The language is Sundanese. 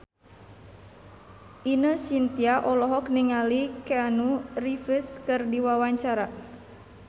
Ine Shintya olohok ningali Keanu Reeves keur diwawancara